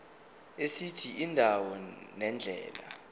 esithi indawo nendlela